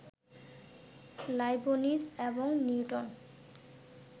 Leibniz এবং Newton